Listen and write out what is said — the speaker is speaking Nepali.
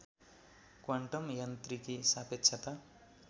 क्वान्टम यान्त्रिकी सापेक्षता